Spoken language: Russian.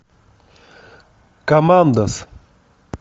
командос